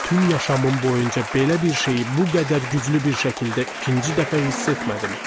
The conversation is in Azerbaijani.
Bütün yaşamım boyunca belə bir şeyi bu qədər güclü bir şəkildə ikinci dəfə hiss etmədim.